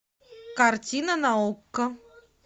картина на окко